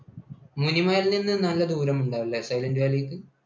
മുനിമലയിൽനിന്ന് നല്ല ദൂരം ഉണ്ട് അല്ലേ സൈലൻറ് വാലിക്ക്?